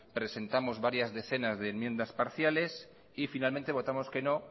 presentamos varias decenas de enmiendas parciales y finalmente votamos que no